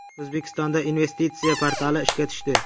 O‘zbekistonda investitsiya portali ishga tushdi.